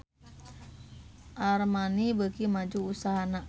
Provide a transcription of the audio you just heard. Armani beuki maju usahana